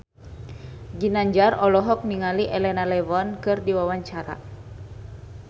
Ginanjar olohok ningali Elena Levon keur diwawancara